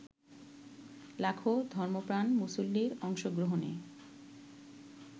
লাখো ধর্মপ্রাণ মুসল্লির অংশগ্রহণে